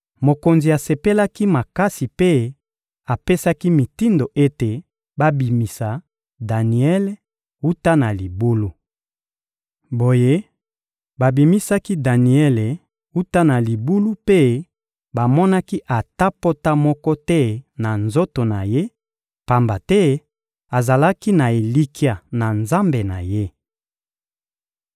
Mokonzi asepelaki makasi mpe apesaki mitindo ete babimisa Daniele wuta na libulu. Boye, babimisaki Daniele wuta na libulu mpe bamonaki ata pota moko te na nzoto na ye, pamba te azalaki na elikya na Nzambe na ye.